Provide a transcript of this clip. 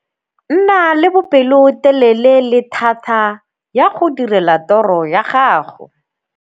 Nna le bopelotelele le thata ya go direla toro ya gago.